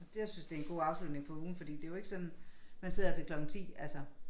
Jeg synes det en god afslutning på ugen fordi det jo ikke sådan man sidder her til klokken 10 altså